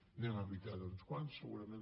n’hem evitats uns quants segurament